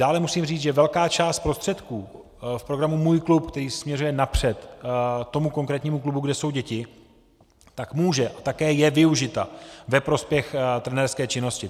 Dále musím říct, že velká část prostředků v programu Můj klub, který směřuje napřed tomu konkrétnímu klubu, kde jsou děti, tak může a také je využita ve prospěch trenérské činnosti.